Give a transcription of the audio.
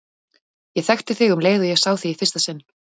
Ég þekkti þig um leið og ég sá þig í fyrsta sinn.